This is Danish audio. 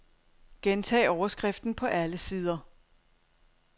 Gentag overskriften på alle sider.